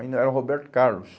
Ainda era o Roberto Carlos.